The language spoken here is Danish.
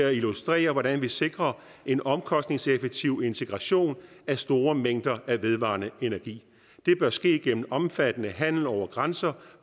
at illustrere hvordan vi sikrer en omkostningseffektiv integration af store mængder af vedvarende energi det bør ske gennem omfattende handel over grænser